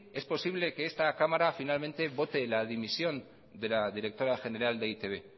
es posible que esta cámara finalmente vote la dimisión de la directora general de e i te be